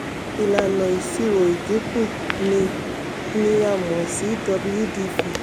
ilànà ìṣirò ìdínkù ni ni a mọ̀ sí wdv